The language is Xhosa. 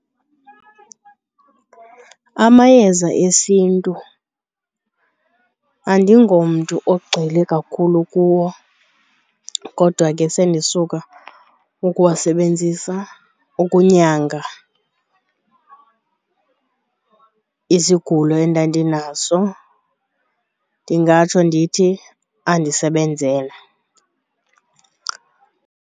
Amayeza esiNtu andingomntu ogxile kakhulu kuwo kodwa ke sendisuka ukuwasebenzisa ukunyanga isigulo endandinaso. Ndingatsho ndithi andisebenzela.